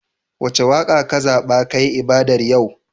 Wace waƙa kazaɓa kayi ibadar yau?